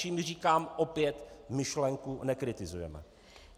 Čími říkám opět - myšlenku nekritizujeme.